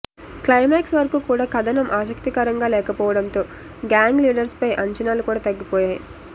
climax వరకు కూడా కథనం ఆసక్తికరంగా లేకపోవడంతో గ్యాంగ్ లీడర్పై అంచనాలు కూడా తగ్గిపోతాయి